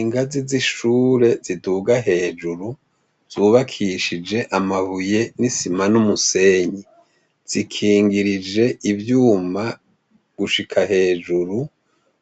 Ingazi z'ishure ziduga hejuru, hubakishije amabuye n'isima n'umusenyi. Zikingirije ivyuma gushika hejuru,